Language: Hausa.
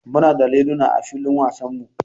Muna da liluna a filin wasanmu.